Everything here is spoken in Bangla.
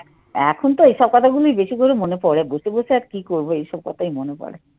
এখন তো এইসব কথাগুলোই বেশি করে মনে পড়ে বসে বসে আর কি করবো এইসব কথাই মনে পড়ে।